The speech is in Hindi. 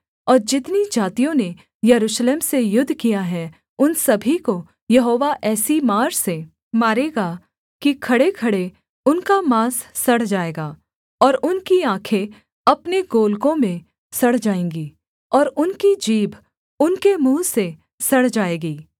और जितनी जातियों ने यरूशलेम से युद्ध किया है उन सभी को यहोवा ऐसी मार से मारेगा कि खड़ेखड़े उनका माँस सड़ जाएगा और उनकी आँखें अपने गोलकों में सड़ जाएँगी और उनकी जीभ उनके मुँह में सड़ जाएगी